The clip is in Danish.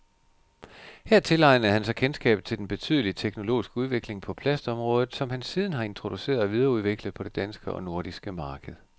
Her tilegnede han sig kendskabet til den betydelige teknologiske udvikling på plastområdet, som han siden har introduceret og videreudviklet på det danske og nordiske marked.